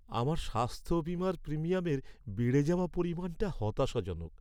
আমার স্বাস্থ্য বীমার প্রিমিয়ামের বেড়ে যাওয়া পরিমাণটা হতাশাজনক।